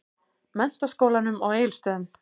Menntaskólanum á Egilsstöðum.